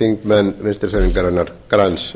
þingmenn vinstri hreyfingarinnar græns